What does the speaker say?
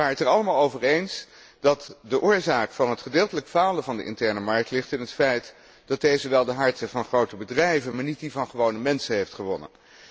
Wij waren het er allemaal over eens dat de oorzaak van het gedeeltelijk falen van de interne markt ligt in het feit dat deze wel de harten van grote bedrijven, maar niet die van gewone mensen heeft gewonnen.